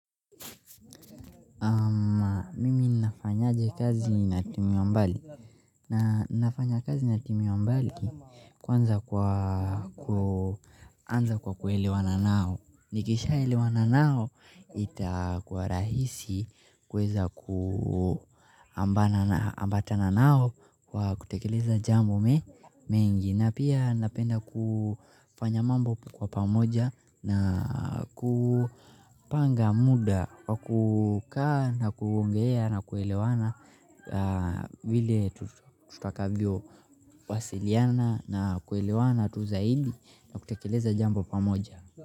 Mimi nafanyaje kazi na timu ya mbali na nafanya kazi na timu ya mbali kwanza kwa kuelewa nao nikisha elewa na nao ita kuwa rahisi kuweza kuambatana nao kwa kutekeleza jambo mengi na pia napenda kufanya mambo kwa pamoja na kupanga muda kukaa na kuongea na kuelewana vile tutakavyo wasiliana na kuelewana tu zaidi na kutekeleza jambo pamoja.